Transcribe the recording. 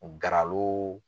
Garalo